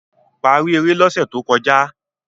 paari ere l'ose tó kọjá